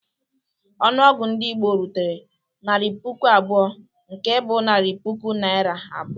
Ọnụọgụ ndị Igbo rutere "narị puku abụọ," nke bụ narị puku Naịra abụọ.